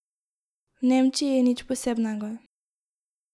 V Nemčiji nič posebnega.